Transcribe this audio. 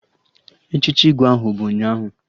Echichi Igwe ahụ bụ ụnyaahụ